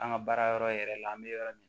An ka baara yɔrɔ yɛrɛ la an bɛ yɔrɔ min